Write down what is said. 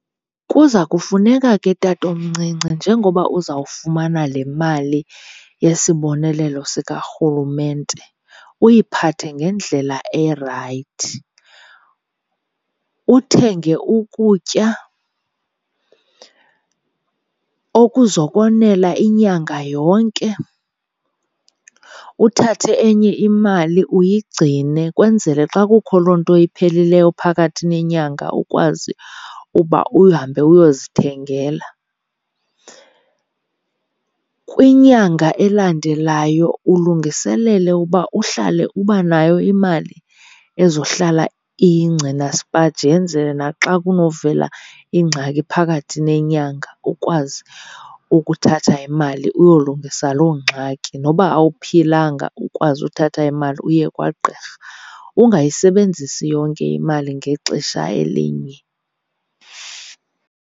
Kuza kufuneka ke tatomncinci njengoba uzawufumana le mali yesibonelelo sikarhulumente uyiphathe ngendlela erayithi. Uthenge ukutya okuzokwenela inyanga yonke, uthathe enye imali uyigcine kwenzele xa kukho loo nto iphelileyo phakathi nenyanga ukwazi uba uhambe uyozithengela. Kwinyanga elandelayo ulungiselele uba uhlale uba nayo imali ezohlala iyingcina sipaji yenzele naxa kunovela ingxaki phakathi nenyanga ukwazi ukuthatha imali uyolungisa loo ngxaki, noba awuphilanga ukwazi uthatha imali uye kwagqirha. Ungayisebenzisi yonke imali ngexesha elinye.